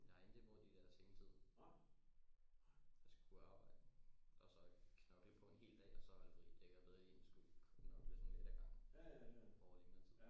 Jeg har intet imod de der sengetid at skulle arbejde og så knokle på en hel dag og så holde fri det kan jeg bedre lide end at skulle knokle sådan lidt ad gangen over længere tid